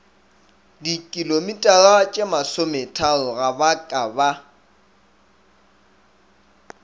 dikilometaratšemasometharo ga ba ka ba